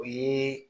O ye